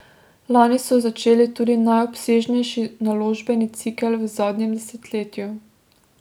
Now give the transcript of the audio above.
Lani so začeli tudi najobsežnejši naložbeni cikel v zadnjem desetletju.